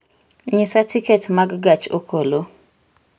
nyisa tiket mag gach okolo